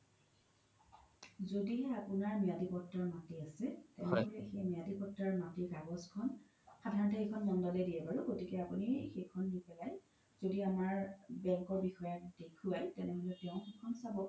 যদিহে আপোনাৰ মিয়াদি পত্ৰৰ মাতি আছে তেনেহ'লে সেই মিয়াদি পত্ৰৰ মাতিৰ কাগজ খন সাধৰনতে সেইখন মন্দলে দিয়ে বাৰু গতিতে আপোনি সেইখন নি পেলাই যদি অমাৰ bank ৰ বিষয়াক দেখোৱাই তেনেহ্'লে তেও খেই খন চাব